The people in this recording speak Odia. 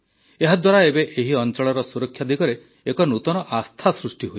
ଏହାଦ୍ୱାରା ଏବେ ଏହି ଅଞ୍ଚଳର ସୁରକ୍ଷା ଦିଗରେ ଏକ ନୂତନ ବିଶ୍ୱାସ ସୃଷ୍ଟି ହୋଇଛି